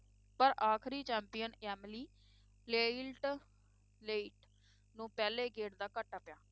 ਪਰ ਆਖਰੀ champion Emily ਲੇਇਲਟ ਲੋਇਟ ਨੂੰ ਪਹਿਲੇ ਗੇੜ ਦਾ ਘਾਟਾ ਪਿਆ।